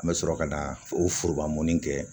An bɛ sɔrɔ ka na o foroba mɔnni kɛ